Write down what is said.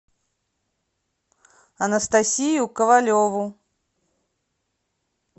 анастасию ковалеву